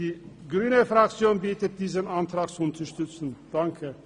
Die grüne Fraktion bittet um Unterstützung für diesen Antrag.